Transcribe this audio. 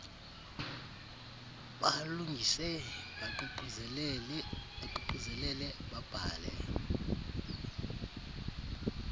balungise baququzelele babhale